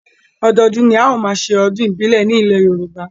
Ọdọọdún ni a ó máa ṣe ọdún ìbílẹ̀ ní ilẹ̀ Yorùbá